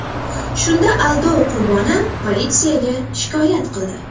Shunda aldov qurboni politsiyaga shikoyat qildi.